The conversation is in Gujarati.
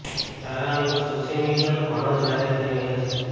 તારાનો લૂક સોશિયલ મીડિયા પર ઘણો જ વાયરલ થઈ રહ્યો છે